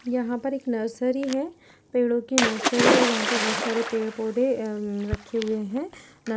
यहां पर एक नर्सरी है। पेड़ो की नर्सरी है जहां पर बोहोत सारे पेड़-पौधे अम्म रखे हुए हैं --